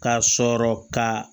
K'a sɔrɔ ka